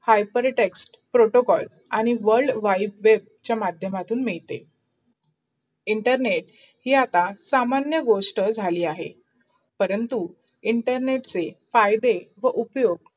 hypertext, protocall आणी world wide web चा माध्यमातून मिडते. इमटरनेट ही आता सामान्य गोष्टी झाली अहे. परंतु इंटरनेटचे फायदे व उपियोग